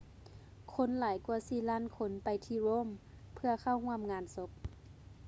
ຄົນຫຼາຍກວ່າສີ່ລ້ານຄົນໄປທີ່ rome ເພື່ອເຂົ້າຮ່ວມງານສົບ